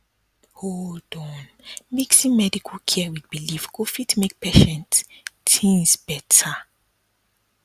hold on mixin medical care wit belief go fit make patient tinz beta